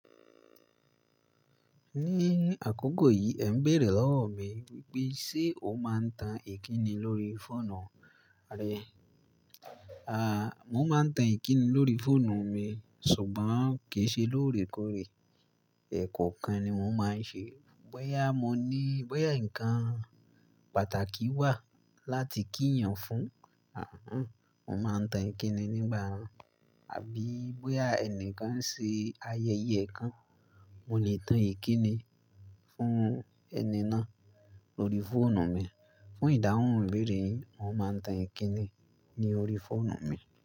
Ní àkókò yìí, ẹ̀ ń bèèrè lọ́wọ́ mi wípé ṣe ó máa ń tan ìkíni lórí fóònù rẹ. À, mo máa ń tan ìkíni lórí fóònù mi ṣùgbọ́n kì í ṣe lóòrèkóòrè. Ẹ̀kọ̀kan ni mo máa ń ṣe. Bóyá mo ní, bóyá ǹkan pàtàkì wà láti kí ènìyàn fún, àhán, mo máa tan ìkíni nígbà náà, àbí bóyá ẹnìkan ń ṣe ayẹyẹ kan, mo lè tan ìkíni fún ẹni náà lórí fóònù mi. Fún ìdáhùn ìbéèrè, mo máa ń tan ìkíni ní orí fóònù mi.